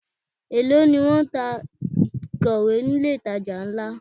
Èló ni wón ń ta ìkọ̀wé ni ilé ìtajà ńlá?